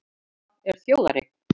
Harpa er þjóðareign